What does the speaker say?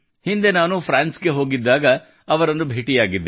ಹಿಂದೆ ನಾನು ಫ್ರಾನ್ಸ್ ಗೆ ಹೋಗಿದ್ದಾಗ ಅವರನ್ನು ಭೇಟಿಯಾಗಿದ್ದೆ